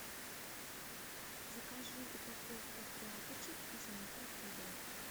закажи упаковку тряпочек из микрофибры